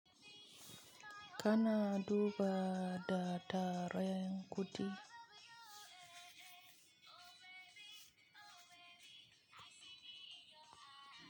Kana duba ba da tarenkudi.